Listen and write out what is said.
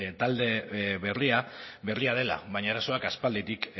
talde berria berria dela baina arazoak aspalditik